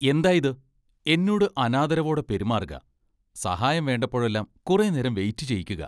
എന്തായിത്? എന്നോട് അനാദരവോടെ പെരുമാറുക, സഹായം വേണ്ടപ്പോഴെല്ലാം കുറെ നേരം വെയിറ്റ് ചെയ്യിക്കുക.